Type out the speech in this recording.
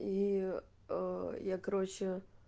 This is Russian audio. и я короче